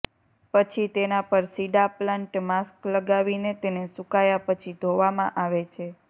પછી તેના પર સીડાપ્લાન્ટ માસ્ક લગાવીને તેને સૂકાયા પછી ધોવામાં આવે છે